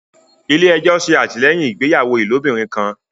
ilé ejo se atilẹyin ìgbéyàwó ilobirin kán.